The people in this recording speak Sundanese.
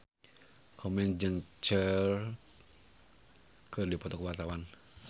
Komeng jeung Cher keur dipoto ku wartawan